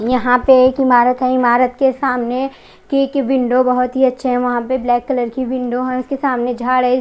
यहाँ पर एक इमारत है इमारत के सामने की की विंडो बहोत ही अच्छे है वहां पर ब्लैक कलर की विंडो है उसके सामने झाड़ है।